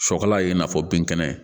Sɔkala ye i n'a fɔ bin kɛnɛ